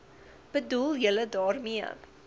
bedoel julle daarmee